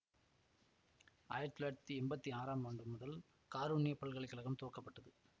ஆயிரத்தி தொள்ளாயிரத்தி எம்பத்தி ஆறாம் ஆண்டு காருண்ய பல்கலை கழகம் துவக்கப்பட்டது